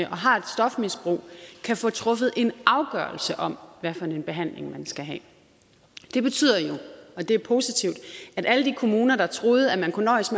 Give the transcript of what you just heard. har et stofmisbrug kan få truffet en afgørelse om hvad for en behandling man skal have det betyder jo og det er positivt at alle de kommuner der troede at man kunne nøjes